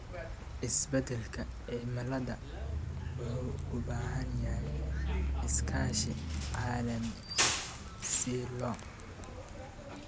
Isbedelka cimilada wuxuu u baahan yahay iskaashi caalami ah si loo